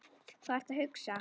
Hvað ertu að hugsa?